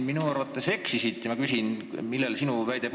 Minu arvates sa eksisid ja ma küsin, millel põhines sinu väide.